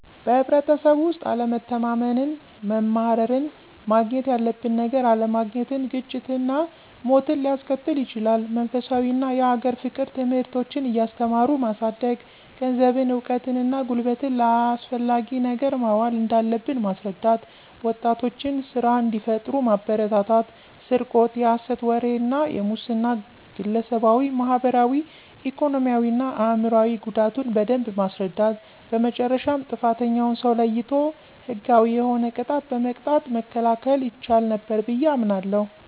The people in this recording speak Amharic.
በህብረተሰቡ ውስጥ አለመተማመንን፣ መማረርን፣ ማግኘት ያለበትን ነገር አለማግኘትን፣ ግጭትና ሞትን ሊያስከትል ይችላል። መንፈሳዊ እና የሀገር ፍቅር ትምህርቶችን እያስተማሩ ማሳደግ፣ ገንዘብን፣ እውቀትን እና ጉልበትን ለአስፈላጊ ነገር ማዋል እንዳለብን ማስረዳት፣ ወጣቶችን ስራ እንዲፈጥሩ ማበረታታት፣ ስርቆት፣ የሐሰት ወሬ እና የሙስና ግለሰባዊ፣ ማህበራዊ፣ ኢኮኖሚያዊ እና አእምሯዊ ጉዳቱን በደንብ ማስረዳት በመጨረሻም ጥፋተኛውን ሰው ለይቶ ህጋዊ የሆነ ቅጣት በመቅጣት መከላከል ይቻል ነበር ብየ አምናለሁ።